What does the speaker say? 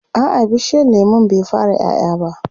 a'a bishiyar lemun bai fara ƴaƴa ba